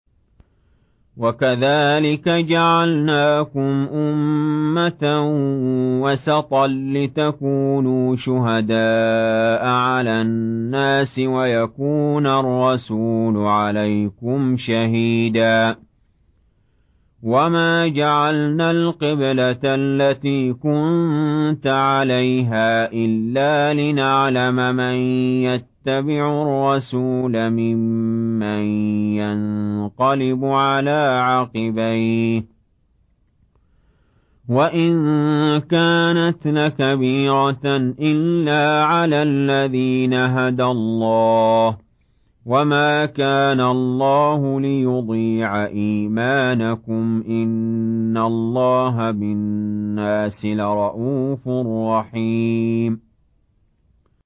وَكَذَٰلِكَ جَعَلْنَاكُمْ أُمَّةً وَسَطًا لِّتَكُونُوا شُهَدَاءَ عَلَى النَّاسِ وَيَكُونَ الرَّسُولُ عَلَيْكُمْ شَهِيدًا ۗ وَمَا جَعَلْنَا الْقِبْلَةَ الَّتِي كُنتَ عَلَيْهَا إِلَّا لِنَعْلَمَ مَن يَتَّبِعُ الرَّسُولَ مِمَّن يَنقَلِبُ عَلَىٰ عَقِبَيْهِ ۚ وَإِن كَانَتْ لَكَبِيرَةً إِلَّا عَلَى الَّذِينَ هَدَى اللَّهُ ۗ وَمَا كَانَ اللَّهُ لِيُضِيعَ إِيمَانَكُمْ ۚ إِنَّ اللَّهَ بِالنَّاسِ لَرَءُوفٌ رَّحِيمٌ